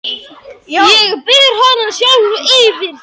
Ég ber hana sjálfa fyrir því.